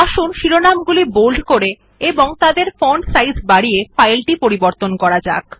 আসুন শিরোনাম গুলি বোল্ড করে এবং তাদের ফন্ট সাইজ বাড়িয়ে ফাইলটি পরিবর্তন করা যাক